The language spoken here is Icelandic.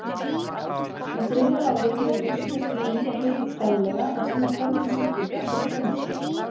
Í þriðja lagi hefur heilsugæslunni víða gengið treglega að sinna þörfum sjúklinga fyrir þjónustu.